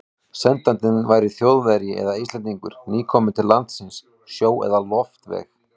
Sendandinn væri Þjóðverji eða Íslendingur, nýkominn til landsins sjó- eða loftveg.